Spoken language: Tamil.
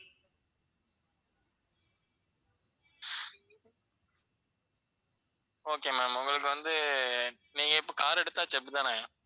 okay ma'am உங்களுக்கு வந்து நீங்க இப்ப car எடுத்தாச்சு அப்படித்தானே?